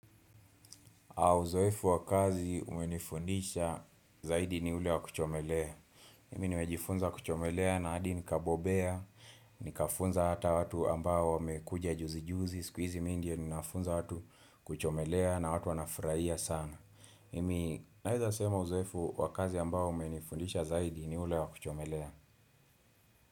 Uzoefu wa kazi umenifundisha zaidi ni ule wa kuchomelea. Mimi nimejifunza kuchomelea na hadi nikabobea, nikafunza hata watu ambao wamekuja juzi juzi, siku hizi mimi ndiye ninawafunza watu kuchomelea na watu wanafurahia sana. Mimi naweza sema uzoefu wa kazi ambao umenifundisha zaidi ni ule wa kuchomelea.